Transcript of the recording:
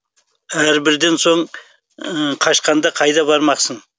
әрбірден соң қашқанда қайда бармақсың